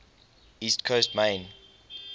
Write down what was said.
east coast maine